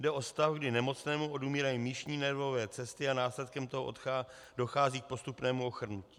Jde o stav, kdy nemocnému odumírají míšní nervové cesty a následkem toho dochází k postupnému ochrnutí.